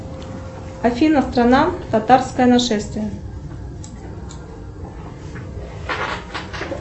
афина страна татарское нашествие